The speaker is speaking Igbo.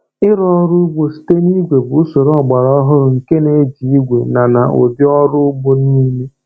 Ịrụ ọrụ ugbo site na igwe bụ usoro ọgbara ọhụrụ nke na-eji igwe na na ụdị ọrụ ugbo niile.